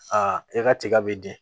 Aa e ka tiga bɛ di